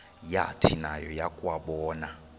yathi nayo yakuwabona